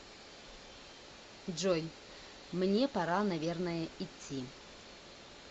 джой мне пора наверное идти